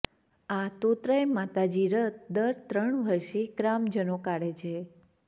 આ તોતરાય માતાજી રથ દર ત્રણ વર્ષે ગ્રામજનો કાઢે છે